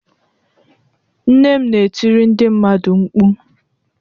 Nne m na-etiri ndị mmadụ mkpu.